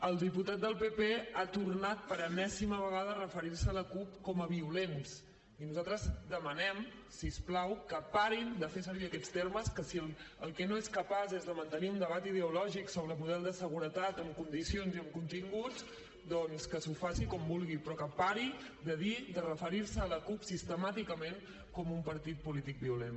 el diputat del pp ha tornat per enèsima vegada a referir se a la cup com a violents i nosaltres demanem si us plau que parin de fer servir aquests termes que si el que no és capaç és de mantenir un debat ideològic sobre el model de seguretat en condicions i amb continguts doncs que s’ho faci com vulgui però que pari de dir de referir se a la cup sistemàticament com un partit polític violent